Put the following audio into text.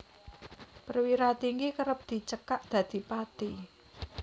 Perwira Tinggi kerep dicekak dadi Pati